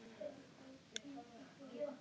LÁRUS: Læknirinn neitar að skoða sjúklinginn.